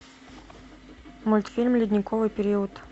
мультфильм ледниковый период